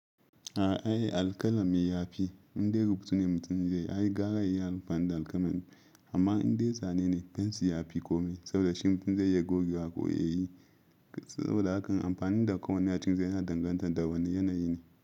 A'a alkalami yafi. Indai rubutu ne mutum zai yi ai gara yayi amfani da alkalami. Amma indai zane ne pencil yafi kome saboda shi mutum zai iya gogewa ƙo ya yi saboda hakan amfani da ƙawun yacin zai na danganta da wane yanayi ne.